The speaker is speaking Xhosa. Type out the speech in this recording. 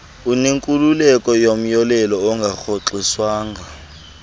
unenkululeko yomyolelo ongarhoxiswanga